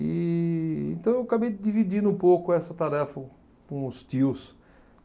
E então eu acabei dividindo um pouco essa tarefa com os tios.